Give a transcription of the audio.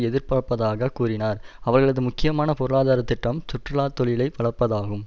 எதிர்பார்ப்பதாக கூறினார் அவர்களது முக்கியமான பொருளாதார திட்டம் சுற்றுலா தொழிலை வளர்ப்பதாகும்